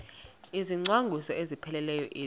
izicwangciso ezipheleleyo ezi